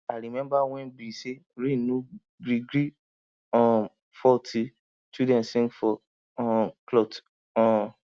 i remember wen be say rain no gree gree um fall till children sing for um klout um